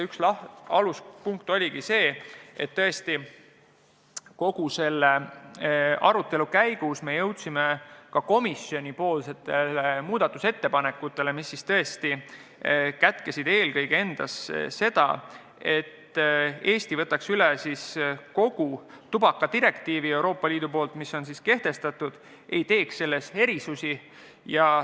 Üks aluspunkt oligi see, et kogu selle arutelu käigus me jõudsime ka komisjonis muudatusettepanekuteni, mis kätkesid eelkõige eesmärki, et Eesti võtaks üle kogu tubakadirektiivi, mille Euroopa Liit on kehtestanud, ega teeks selles erisusi.